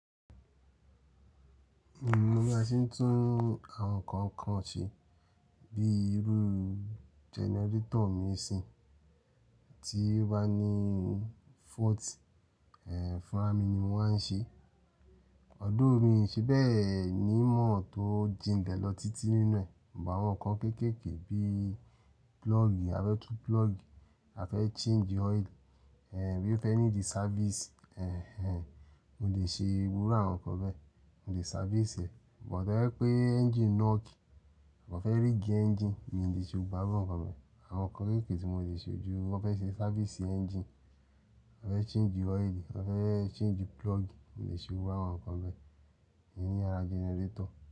Mi mo bí a ṣe ń tún àwọn nǹkan kan ṣe bí irú genarétọ̀ mi ṣìín, tí ó bá ní fault, ẹ̀, fúnra mi ni mo màá n ṣe. Although mi ṣebẹ̀ ni ìmò tó jìn lè b lọ títí nínú ẹ̀, but àwọn nǹkan kéékèèké bí púlọ̀gì, a fẹ́ tún púlọ̀gì, a fẹ́ change oil, ẹ, bí ó fẹ́ ní di sáfíìsì, ẹ, ẹ, mo lè ṣe irú àwọn nǹkan bẹ́ẹ̀. Mo lè sáfíìsì ẹ̀. Bùt tóbá jé pé ẹ́ngìnī nọ̀kì, a fẹ́ ríìgì ẹ́ngìnì, mi ò lè ṣe gbogbo àwọn nǹkan bẹ́ẹ̀. Àwọn nǹkan kéékèèké tí mo le ṣe o jú, wọ́n fẹ́ ṣe sáfíìsì ẹ́ngìnì, wọ́n fẹ́ change oil, wọ́n fẹ́ change púlọ̀gì, mo lè ṣe gbogbo irú àwọn nǹkan bẹ́ẹ̀. Ìyen ní ara genarétọ̀